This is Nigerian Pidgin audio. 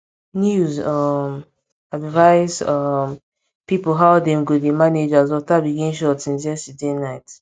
news um advise um people how dem go dey manage as water begin short since yesterday night